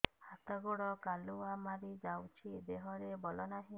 ହାତ ଗୋଡ଼ କାଲୁଆ ମାରି ଯାଉଛି ଦେହରେ ବଳ ନାହିଁ